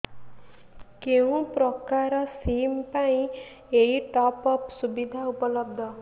କେଉଁ ପ୍ରକାର ସିମ୍ ପାଇଁ ଏଇ ଟପ୍ଅପ୍ ସୁବିଧା ଉପଲବ୍ଧ